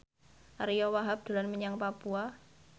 Ariyo Wahab dolan menyang Papua